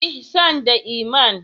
Ihsan da Iman.